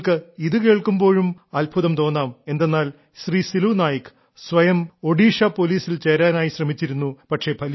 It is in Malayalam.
നിങ്ങൾക്ക് ഇതു കേൾക്കുമ്പോഴും അത്ഭുതം തോന്നാം എന്തെന്നാൽ ശ്രീ സിലു നായക് സ്വയം ഒഡീഷാ പോലീസിൽ ചേരാനായി ശ്രമിച്ചിരുന്നു